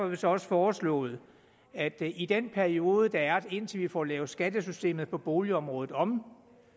vi så også foreslået at i den periode der er indtil vi får lavet skattesystemet på boligområdet om